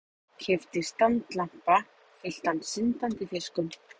Keypti standlampa fylltan syndandi fiskum.